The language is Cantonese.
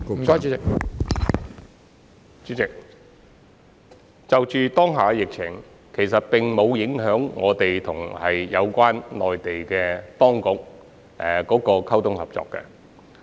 主席，當下的疫情其實沒有影響我們與內地有關當局溝通和合作。